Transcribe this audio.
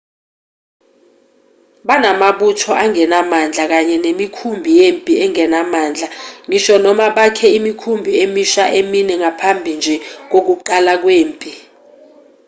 banamabutho angenamandla kanye nemikhumbi yempi engenamandla ngisho noma bakhe imikhumbi emisha emine ngaphambi nje kokuqala kwempi